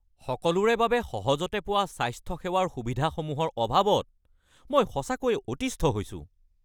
সকলোৰে বাবে সহজতে পোৱা স্বাস্থ্যসেৱাৰ সুবিধাসমূহৰ অভাৱত মই সঁচাকৈয়ে অতিষ্ঠ হৈছোঁ।